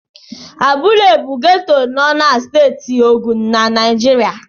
Abúlé bụ geto nọ na Steeti Ogun na Naijiria.